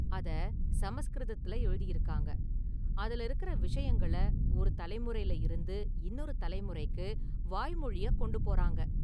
அத சமஸ்கிருதத்துல எழுதிருக்காங்க, அதுல இருக்கற விஷயங்கள ஒரு தலைமுறைல இருந்து இன்னொரு தலைமுறைக்கு வாய்மொழியா கொண்டு போறாங்க.